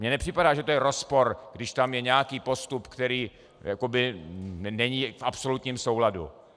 Mně nepřipadá, že to je rozpor, když tam je nějaký postup, který není v absolutním souladu.